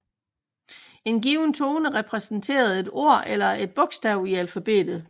En given tone repræsenterede et ord eller et bogstav i alfabetet